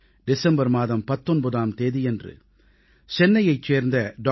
December மாதம் 19ஆம் தேதியன்று சென்னையைச் சேர்ந்த டாக்டர்